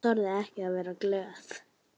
Þorir ekki að vera glöð.